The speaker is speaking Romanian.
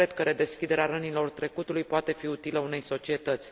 Nu cred că redeschiderea rănilor trecutului poate fi utilă unei societăți.